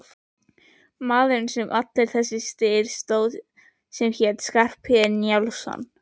Maðurinn sem allur þessi styr stóð um hét Skarphéðinn Njálsson.